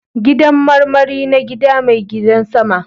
Gidan marmari na gida mai gidan sama.